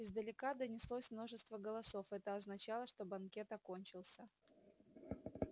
издалека донеслось множество голосов это означало что банкет окончился